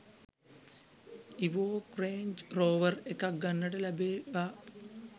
Evoque Range Rover එකක් ගන්නට ලැබේවා